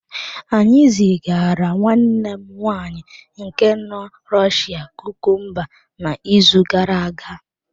Anyị zigara nwanne m nwaanyị nke nọ Rọshịa kukumba n’izu gara aga.